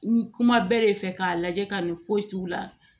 N kuma bɛɛ de fɛ k'a lajɛ ka nin foyi t'u la